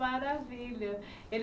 Maravilha.